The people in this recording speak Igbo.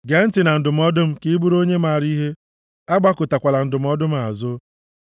Gee ntị na ndụmọdụ m ka ị bụrụ onye maara ihe, agbakụtakwala ndụmọdụ m azụ.